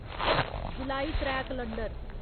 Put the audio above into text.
जुलाई त्रै कलंडर